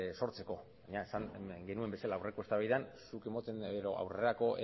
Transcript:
sortzeko baina esan genuen bezala aurreko eztabaidan aurrerako